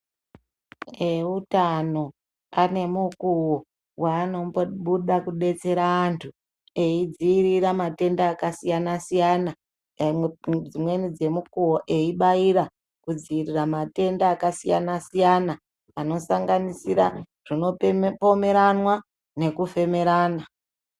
Veutano ane mukuvo vanombobuda kubetsera antu eidzirira matenda akasiyana-siyana. Dzimweni dzemukuvo eibaira kudzirira matenda akasiyana-siyana, anosanganisira zvinopomweranwa nekufemerana.